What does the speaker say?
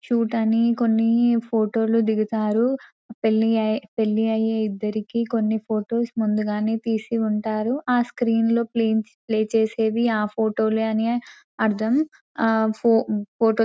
చూడాని కొన్ని ఫోటోలు దిగుతారు పెళ్లి పెళ్లి అయ్యే ఇద్దరికీ కొన్ని ఫొటోస్ ముందుగానే తీసి ఉంటారు ఆ స్క్రీన్ లో ప్లే చేసేది ఆ ఫోటోలు అని అర్థం ఆ ఆహ్ ఆఫోటో --